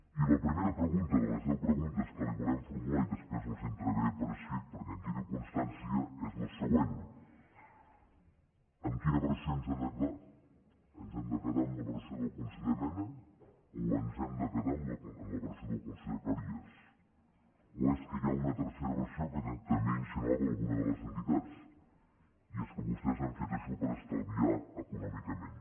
i la primera pregunta de les deu preguntes que li volem formular i després les entregaré per escrit perquè en quedi constància és la següent amb quina versió ens hem de quedar ens hem de quedar amb la versió del conseller mena o ens hem de quedar amb la versió del conseller cleries o és que hi ha una tercera versió que també insinuava alguna de les entitats i és que vostès han fet això per estalviar econòmicament